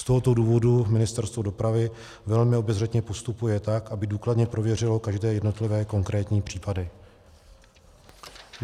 Z tohoto důvodu Ministerstvo dopravy velmi obezřetně postupuje tak, aby důkladně prověřilo každé jednotlivé konkrétní případy.